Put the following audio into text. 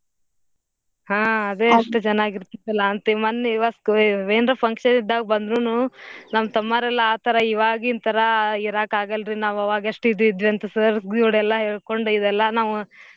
ಹಾ ಅದೇ ಅಷ್ಟ್ ಚನಾಗ್ ಇರ್ತಿತ್ತಲಾ ಅಂತೀವ್ ಮನ್ನೆ ಇವತ್ಗು ಏ~ ಏನ್ರ function ಇದ್ದಾಗ್ ಬಂದ್ರುನೂ ನಮ್ ತಮ್ಮಾರೆಲ್ಲಾ ಆತರ ಇವಾಗಿನ್ ತರಾ ಇರಾಕಾಗಲ್ರಿ ನಾವ್ ಅವಾಗ್ ಎಷ್ಟ್ ಇದ್ ಇದ್ವಿ ಅಂತ sir ಎಲ್ಲಾ ಹೇಳ್ಕೊಂದ್ ಇದೆಲ್ಲಾ ನಾವ್.